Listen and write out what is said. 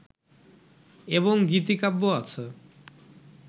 এবং গীতিকাব্য আছে